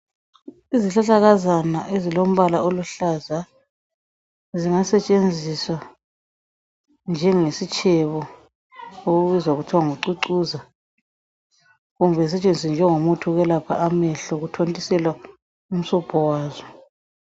Izihlahlakazana ezilombala oluhlaza, zingasetshenziswa njengesitshebo okubizwa kuthiwa ngucucuza, kumbe zisetshenziswe njengomuthi wokwelapha amehlo okuthontiselwa umsobho wazo.